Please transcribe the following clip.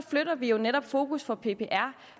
flytter vi jo netop fokus for ppr